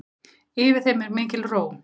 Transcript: Yfir þeim er mikil ró.